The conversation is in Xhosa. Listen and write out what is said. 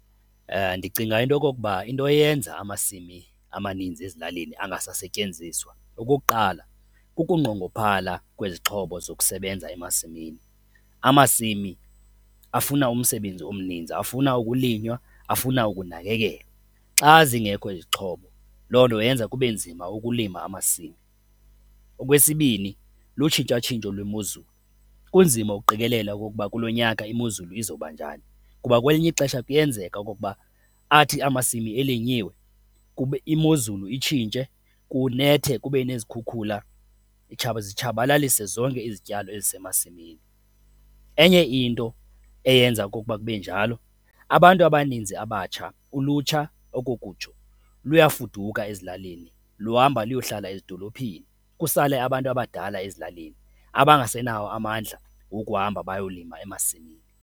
Ndicinga into okokuba into eyenza amasimi amaninzi ezilalini angasasetyenziswa, okokuqala, kukunqongophala kwezixhobo zokusebenza emasimini. Amasimi afuna umsebenzi omninzi, afuna ukulinywa, afuna ukunakekelwa. Xa zingekho izixhobo, loo nto yenza kube nzima ukulima amasimi. Okwesibini, lutshintshatshintsho lwemozulu, kunzima ukuqikelela okokuba kulo nyaka imozulu izawubanjani, kuba kwelinye ixesha kuyenzeka okokuba athi amasimi elinyiwe imozulu itshintshe, kunethe kube nezikhukhula zitshabalalise zonke izityalo ezisemasimini. Enye into eyenza okokuba kube njalo, abantu abaninzi abatsha, ulutsha okokutsho luyafuduka ezilalini, luhamba luyohlala ezidolophini, kusale abantu abadala ezilalini abangasenawo amandla wokuhamba bayolima emasimini.